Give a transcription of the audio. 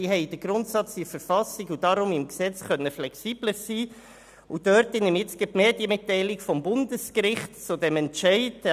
Dort steht der Grundsatz in der Verfassung, um das Gesetz flexibler gestalten zu können.